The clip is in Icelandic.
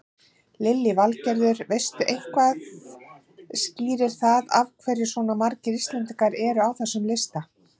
Lillý Valgerður: Veistu eitthvað skýrir það af hverju svona margir Íslendingar eru á þessum lista?